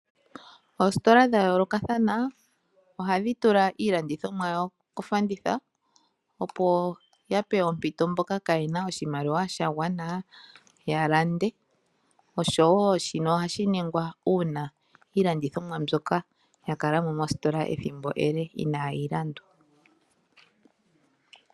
Oositola dhayoolokathana ohadhi tula iilandithomwa yawo kofanditha opo ya pe ompito mboka kaayena oshimaliwa shagwana ya lande osho wo shino ohashi ningwa uuna iilandithomwa mbyoka yakala mo mositola ethimbo ele inaayi landwa.